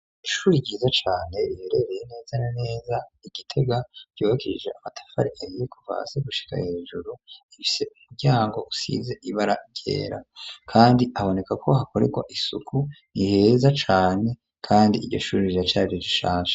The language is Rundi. Ishure ryiza cane riherereye neza na neza igitega ryubakishije amatafari ahiye kuva hasi gushika hejuru ifise umuryango usize ibara ryera kandi haboneka ko hakorerwa isuku niheza cane kandi iryo shure riracari rishasha.